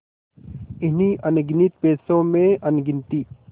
इन्हीं अनगिनती पैसों में अनगिनती